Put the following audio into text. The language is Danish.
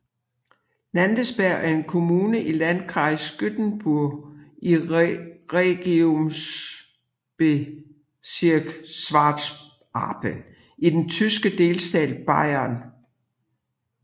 Landensberg er en kommune i Landkreis Günzburg i Regierungsbezirk Schwaben i den tyske delstat Bayern